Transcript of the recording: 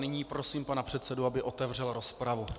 Nyní prosím pana předsedu, aby otevřel rozpravu.